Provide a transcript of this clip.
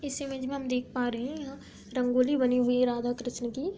इस इमेज में हम देख पा रहे हैं यहाँ रंगोली बनी हुई है राधा कृष्ण की‌।